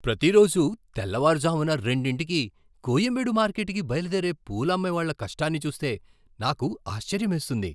ప్రతిరోజూ తెల్లవారుజామున రెండింటికి కొయంబేడు మార్కెట్కి బయలుదేరే పూలు అమ్మేవాళ్ళ కష్టాన్ని చూస్తే నాకు ఆశ్చర్యమేస్తుంది.